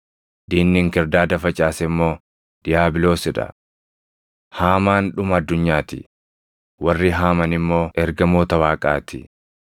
diinni inkirdaada facaase immoo diiyaabiloos dha. Haamaan dhuma addunyaa ti; warri haaman immoo ergamoota Waaqaa ti.